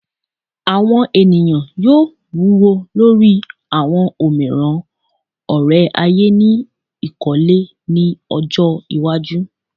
Awọn eniyan yoo wuwo lori awọn omiiran ore-aye ni ikole ni ọjọ iwaju